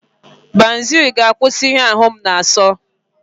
Banuzelu ga-akwụsị ihe ahu m na-aso.